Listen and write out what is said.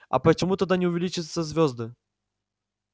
а почему тогда не увеличатся звёзды